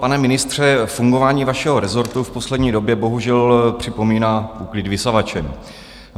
Pane ministře, fungování vašeho rezortu v poslední době bohužel připomíná úklid vysavačem.